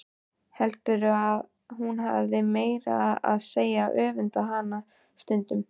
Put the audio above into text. Heldur að hún hafi meira að segja öfundað hana stundum.